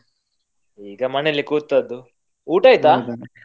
ಈಗ ಮನೇಲಿ ಕೂತದ್ದು ಊಟ ಆಯ್ತಾ?